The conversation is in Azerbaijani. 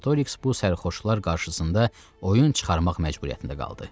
Artoriks bu sərxoşlar qarşısında oyun çıxarmaq məcburiyyətində qaldı.